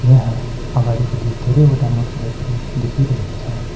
यहाँ अगाडिपट्टि धेरैवटा मोटर बाइक हरू देखिरहेको छ।